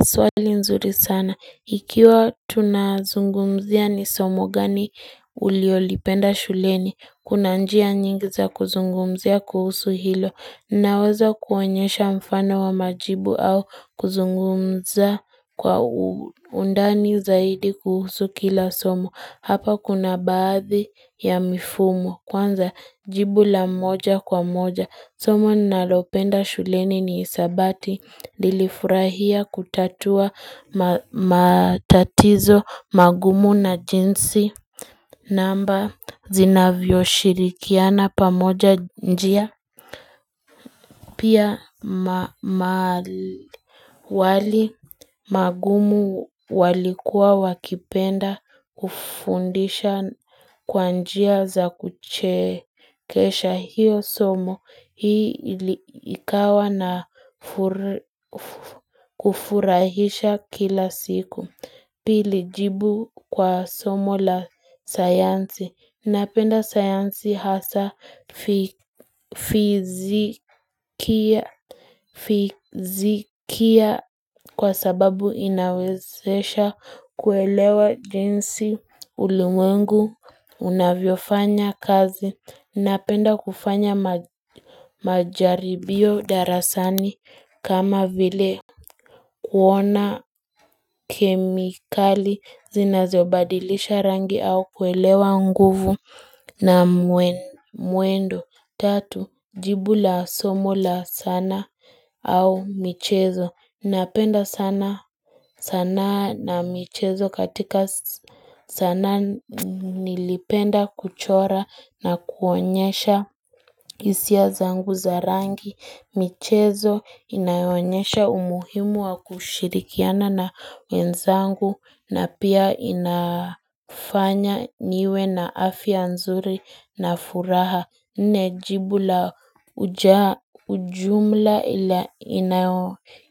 Swali ni nzuri sana. Ikiwa tunazungumzia ni somo gani ulilolipenda shuleni. Kuna njia nyingi za kuzungumzia kuhusu hilo. Naweza kuwaonyesha mfano wa majibu au kuzungumza kwa undani zaidi kuhusu kila somo. Hapa kuna baadhi ya mifumo Kwanza jibu la moja kwa moja Somo ninalopenda shuleni ni hisabati nilifurahia kutatua matatizo magumu na jinsi namba zinavyo shirikiana pamoja njia Pia wali magumu walikuwa wakipenda kufundisha kwanjia za kuchekesha hiyo somo hii likawa na kufurahisha kila siku. Pili jibu kwa somo la sayansi. Napenda sayansi hasa fizikia kwa sababu inawezesha kuelewa jinsi ulimwengu unavyofanya kazi. Napenda kufanya majaribio darasani kama vile kuona kemikali zinazobadilisha rangi au kuelewa nguvu na mwendo. Tatu, jibu la somo la sanaa au michezo. Napenda sanaa na michezo katika sanaa nilipenda kuchora na kuonyesha hisia zangu za rangi. Michezo inayoonyesha umuhimu wa kushirikiana na wenzangu na pia inafanya niwe na afya nzuri na furaha. Najibu la ujumla ila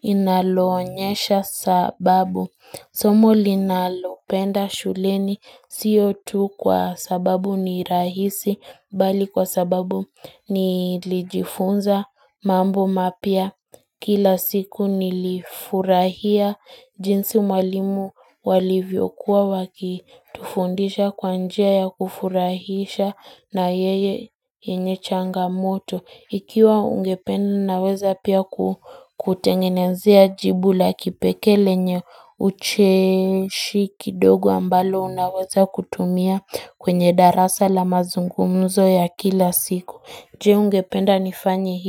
linaloonyesha sababu somo linalopenda shuleni siyo tu kwa sababu ni rahisi bali kwa sababu nilijifunza mambo mapya kila siku nilifurahia jinsi mwalimu walivyokuwa waki Tufundisha kwanjia ya kufurahisha na yeye yenye changamoto Ikiwa ungependa naweza pia kutengenezea jibu la kipekee lenye ucheshi kidogo ambalo unaweza kutumia kwenye darasa la mazungumzo ya kila siku Je ungependa nifanyehii.